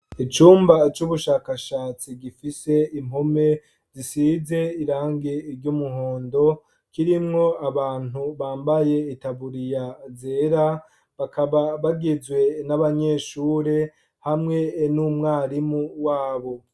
Icumba c' ubushakashatsi gifise impome zisize irangi ry' umuhondo, kirimwo abantu bambaye itaburiya zera, bakaba bagizwe n' abanyeshure, hamwe n' umwarimu wabo.